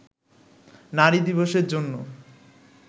নারী দিবসের জন্য